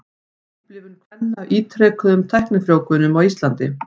Upplifun kvenna af ítrekuðum tæknifrjóvgunum á Íslandi.